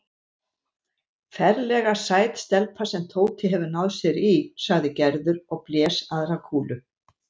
Ferlega sæt stelpa sem Tóti hefur náð sér í sagði Gerður og blés aðra kúlu.